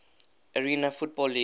arena football league